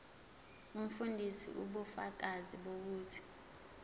umfundisi ubufakazi bokuthi